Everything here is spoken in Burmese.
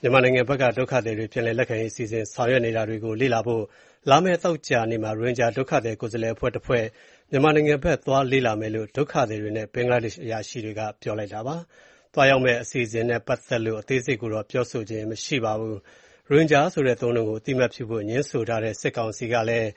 မြန်မာနိုင်ငံဘက်က ဒုက္ခသည်တွေ ပြန်လည်လက်ခံရေး အစီအစဉ် ဆောင်ရွက်နေတာတွေကို လေ့လာဖို့ လာမယ့်သောကြာနေ့မှာ ရိုဟင်ဂျာ ဒုက္ခသည် ကိုယ်စားလှယ် အဖွဲ့တဖွဲ့ မြန်မာနိုင်ငံဘက်ကို သွားရောက်လေ့လာမယ့်အကြောင်း ဒုက္ခသည်တွေနဲ့ ဘင်္ဂလားဒေ့ရှ် အရာရှိတွေက ပြောပါတယ်။ သွားရောက်မယ့် အစီအစဉ်နဲ့ ပတ်သက်လို့ အသေးစိတ်ကိုတော့ ပြောဆိုခြင်း မရှိပါဘူး။ ရိုဟင်ဂျာဆိုတဲ့ အသုံးအနှုန်းကို အသိအမှတ်ပြုဖို့ ငြင်းဆိုထားတဲ့ စစ်ကောင်စီဘက်ကလည်း